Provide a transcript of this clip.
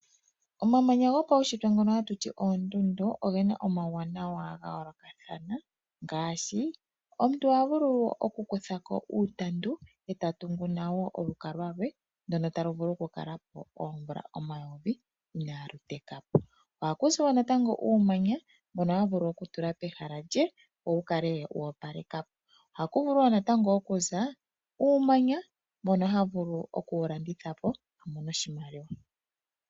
Omamanya gopaushitwe ngono haku tiwa oondundu, ogena omauwanawa ga yoolokathana ngaashi omuntu oha vulu oku kutha ko uutandu ta tungu nago olukalwa lwe ndono talu vulu ku kala po oomvula omayovi inalu teka po. Ohaku kuzi wo uumanya mbono omuntu ta vulu oku tula pehala lye, wu kale woopaleka po nenge uumanya tekewu landitha po.